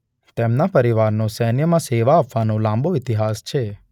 તેમના પરિવારનો સૈન્યમાં સેવા આપવાનો લાંબો ઈતિહાસ છે.